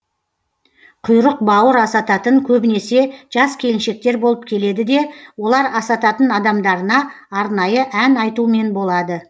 құйрық бауыр асататын көбінесе жас келіншектер болып келеді де олар асататын адамдарына арнайы ән айтумен болады